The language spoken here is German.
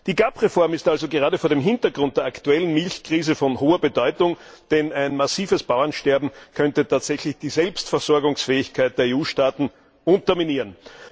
Die GAP Reform ist also gerade vor dem Hintergrund der aktuellen Milchkrise von hoher Bedeutung, denn ein massives Bauernsterben könnte tatsächlich die Selbstversorgungsfähigkeit der EU Staaten unterminieren.